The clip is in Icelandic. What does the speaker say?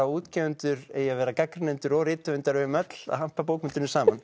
útgefendur eigi að vera gagnrýnendur og rithöfundar við eigum öll að hampa bókmenntunum saman